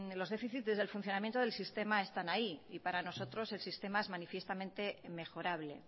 los déficit desde el funcionamiento del sistema están ahí y para nosotros el sistema es manifiestamente mejorable